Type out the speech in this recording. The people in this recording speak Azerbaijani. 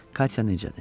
Katya necədir?